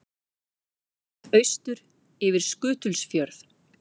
Horft austur yfir Skutulsfjörð.